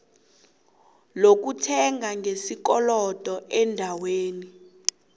lokuthenga ngesikolodo eendaweni